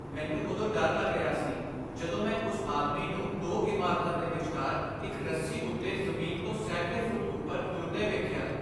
ਮੈਨੂੰ ਉਦੋਂ ਡਰ ਲੱਗ ਰਿਹਾ ਸੀ ਜਦੋਂ ਮੈਂ ਉਸ ਆਦਮੀ ਨੂੰ ਦੋ ਇਮਾਰਤਾਂ ਦੇ ਵਿਚਕਾਰ ਇੱਕ ਰੱਸੀ ਉੱਤੇ ਜ਼ਮੀਨ ਤੋਂ ਸੈਂਕੜੇ ਫੁੱਟ ਉੱਪਰ ਤੁਰਦੇ ਵੇਖਿਆ।